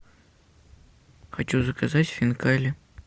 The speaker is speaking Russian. хочу заказать хинкали